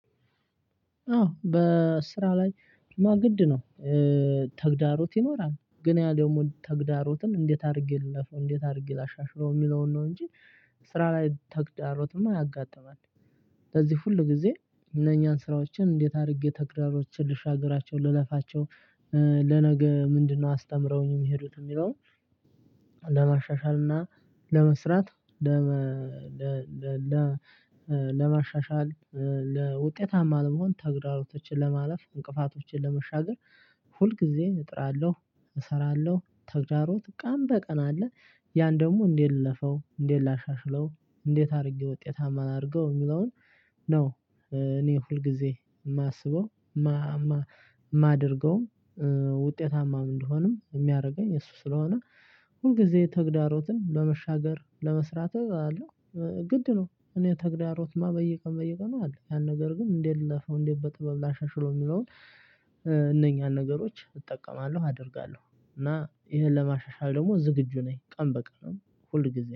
አዎ በስራ ላይማ ግድ ነው። ተግዳሮት ይኖራል ግን ያ ደግሞ ተግዳሮትም እንዴት አድርጌ ልለፈው እንዴት አድርጌ ላሻሽለው የሚለውን ነው እንጂ ስራ ላይ ተግዳሮትም ያጋጥማል። ለዚህ ሁል ጊዜ እነኛን ስራዎችን እንዴት አድርጌ ተግራሮችን ልሻግራቸው ልለፋቸው ለነገ ምንድነው አስተምረውኝ የሚሄዱት የሚለውን? ለማሻሻል እና ለመስራት ለመ ለማሻሻል ለውጤታማ ለመሆን ተግዳሮቶችን ለማለፍ እንቅፋቶችን ለመሻገር ሁል ጊዜ እጥራለሁ። እሰራለሁ ተግዳሮት ቀን በቀን አለ። ያን ደግሞ እንዴት ልለፈው እንዴት ላሻሽለው እንዴት አድርጌ ውጤታማ ላድርገው የሚለውን ነው። እኔ ሁልጊዜ የማስበው የማደርገውም ውጤታማ ምን እንደሆነም የሚያደርገኝ እሱ ስለሆነ። ሁልጊዜ ተግዳሮትን በመሻገር ለመስራት አለው ግድ ነው። እኔ ተግዳሮትማ በየቀን በየቀን ነው አለ ያን ነገር ግን እንዴት ልለፈው እንዴት በጥበብ ላሻሽለው የሚለውን። እነኛን ነገሮች እጠቀማለሁ አደርጋለሁ እና ይሄን ለማሻሻል ደግሞ ዝግጁ ነኝ ቀን በቀን ሁል ጊዜ